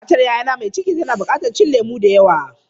Matar yayana mai ciki tana buƙatar cin lemu da yawa.